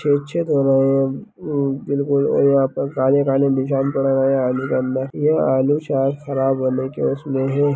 छेद-छेद हो रहे हैं। हमम बिल्कुल और यहाँ पे काले-काले निशान पड़ रहे हैं आलू के अंदर ये आलू शायद ख़राब होने के उसमें हैं।